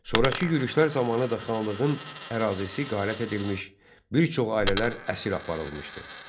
Sonrakı yürüşlər zamanı da xanlığın ərazisi talan edilmiş, bir çox ailələr əsir aparılmışdı.